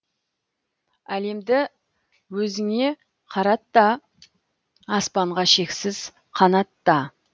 әлемді өзіңе қарат та аспанға шексіз қанатта